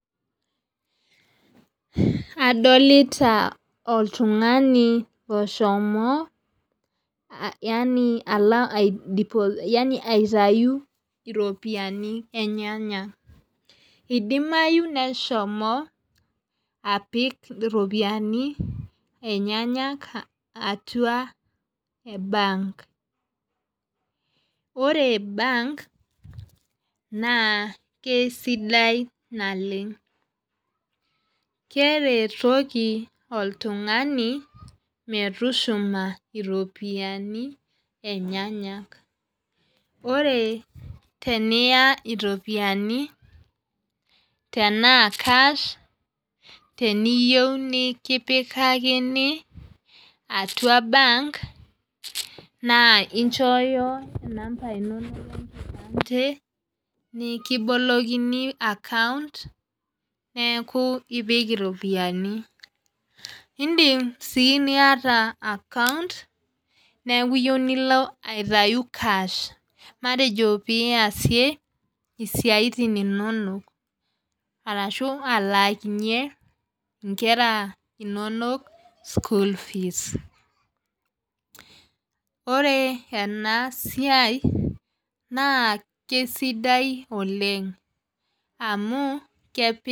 Adolita oltungani oshomo yaani alo ai deposit yaani aitayu iropiyiani enyenak. idimayu neshomo apik iropiyiani enyanak atua bank ore bank naa kesidai naleng. keretoki oltungani, metushuma iropiyiani enyenak. ore teniya iropiyiani tenaa Cash teniyieu nikipikakini, atua bank naa inchooyo namba inonok enkipande, nikibolokini account neeku, ipik iropiyiani. idim sii niata account neeku iyieu nilo aitayu cash matejo pee iyarie isiatin inonok. arashu alaakinye nkera inonok school fees ore ena siai, naa kesidai oleng. amu,